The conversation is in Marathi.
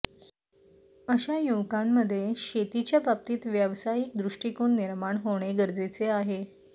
अशा युवकांमध्ये शेतीच्या बाबतीत व्यावसायिक दृष्टिकोन निर्माण होणे गरजेचे आहे